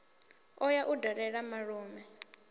o ya u dalela malume